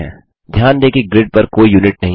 ध्यान दें कि ग्रिड पर कोई यूनिट नहीं है